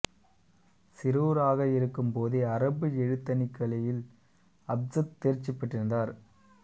சிறுவராக இருக்கும் போதே அரபு எழுத்தணிக்கலையில் அப்ஜத் தேர்ச்சி பெற்றிருந்தார்